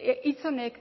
hitz honek